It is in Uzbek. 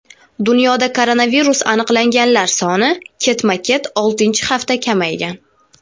Dunyoda koronavirus aniqlanganlar soni ketma-ket oltinchi hafta kamaygan.